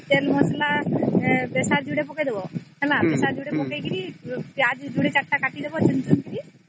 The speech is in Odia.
ତେଲ ମସଲା ବେସର ଯୋଡିଏ ପକେଇ ଦାବି ପକେଇ କିରି ପିଆଜ ଯୋଡ଼େ ୪ ତା କାଟି ଦବ ଚୂନ ଚୂନ କିରି